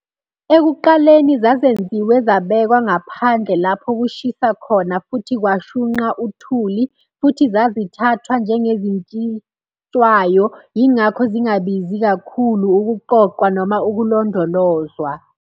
Ekuqaleni zazenziwe zabekwa ngaphandle lapho kushisa khona futhi kwashunqa uthuli, futhi zazithathwa njengezishintshwayo - yingakho zingabizi kakhulu ukuqoqwa noma ukulondolozwa.